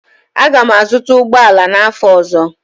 Aga m azụta ụgbọ ala n'afọ ọzọ